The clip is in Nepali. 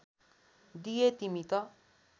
दिए तिमी त